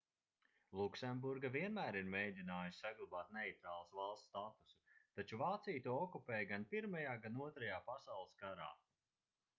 luksemburga vienmēr ir mēģinājusi saglabāt neitrālas valsts statusu taču vācija to okupēja gan pirmajā gan otrajā pasaules karā